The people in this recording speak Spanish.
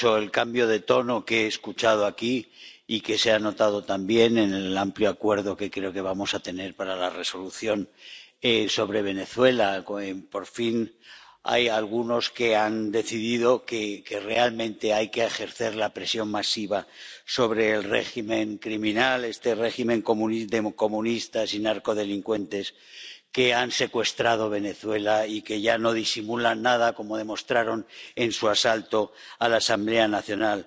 Señora presidenta, a mí me alegra mucho el cambio de tono que he escuchado aquí, y que se ha notado también en el amplio acuerdo, que creo que vamos a tener, para la Resolución sobre Venezuela. Por fin hay algunos que han decidido que realmente hay que ejercer la presión masiva sobre el régimen criminal, este régimen de comunistas y narcodelincuentes que han secuestrado Venezuela, y que ya no disimulan nada, como demostraron en su asalto a la Asamblea Nacional.